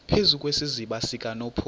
phezu kwesiziba sikanophoyi